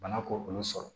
Bana k'olu sɔrɔ